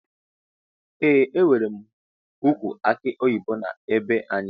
Eeh enwere ukwu aki oyibo na be anyi.